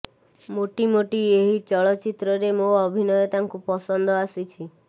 ମୋଟିମୋଟି ଏହି ଚଳଚ୍ଚିତ୍ରରେ ମୋ ଅଭିନୟ ତାଙ୍କୁ ପସନ୍ଦ ଆସିଛି